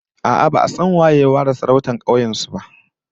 A'a, ba'a san waye ya fara sarautar kauyen su ba